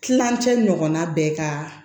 Kilancɛ ɲɔgɔnna bɛɛ ka